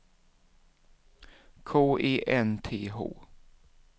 K E N T H